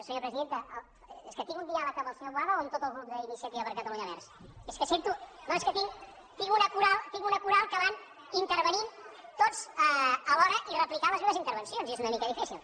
senyora presidenta és que tinc un diàleg amb el senyor boada o amb tot el grup d’iniciativa per catalunya verds és que sento és que tinc una coral que van intervenint tots a l’hora i replicant les meves intervencions i és una mica difícil